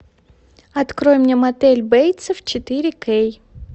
открой мне мотель бейтсов четыре кей